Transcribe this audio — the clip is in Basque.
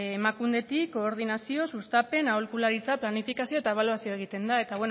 emakundetik koordinazio sustapen aholkularitza planifikazio eta ebaluazioa egiten da eta